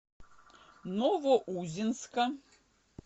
новоузенска